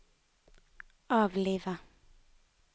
avlive